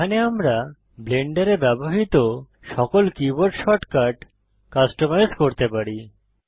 এখানে আমরা ব্লেন্ডারে ব্যবহৃত সকল কীবোর্ড শর্টকাট কাস্টমাইজ করতে পারি